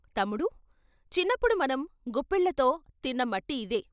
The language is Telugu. తమ్ముడూ చిన్నప్పుడు మనం గుప్పిళ్ళతో తిన్న మట్టి ఇదే!